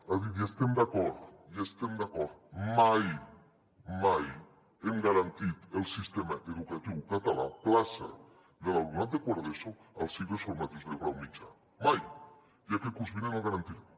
ha dit hi estem d’acord hi estem d’acord mai mai hem garantit el sistema educatiu català plaça de l’alumnat de quart d’eso als cicles formatius de grau mitjà mai i aquest curs vinent el garantirem